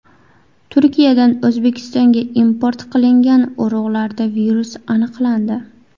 Turkiyadan O‘zbekistonga import qilingan urug‘larda virus aniqlandi.